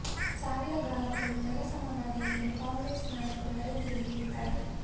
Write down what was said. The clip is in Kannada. ಸಾವಿರ ಗ್ರಾಮಗಳು ನೆಲ ಸಮವಾಗಿವೆ ಎಂದು ಕಾಂಗ್ರೆಸ್ ನಾಯಕರು ವರದಿಯಲ್ಲಿ ಹೇಳಿದ್ದಾರೆ